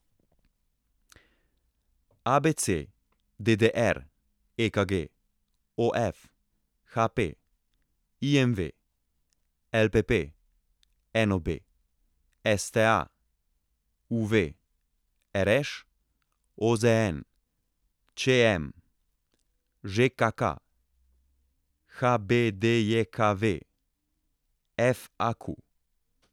ABC, DDR, EKG, OF, HP, IMV, LPP, NOB, STA, UV, RŠ, OZN, ČM, ŽKK, HBDJKV, FAQ.